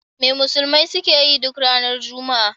Me musulmai suke yi duk ranar Juma'a?